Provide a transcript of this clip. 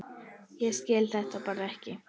Ég skil þetta bara ekki.